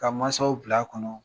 Ka mansaw bil'a kɔnɔ